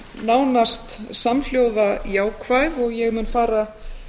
nánast samhljóða jákvæð og ég mun fara